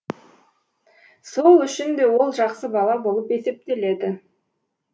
сол үшін де ол жақсы бала болып есептеледі